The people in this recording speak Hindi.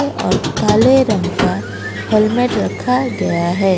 और काले रंग का हेल्मेट रखा गया है।